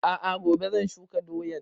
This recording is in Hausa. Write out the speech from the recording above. A'a gobe zan shuka doyan